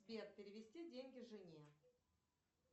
сбер перевести деньги жене